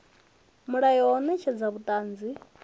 mulayo wa u netshedza vhuṱanzi